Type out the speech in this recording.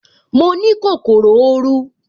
Mo ní kòkòrò oru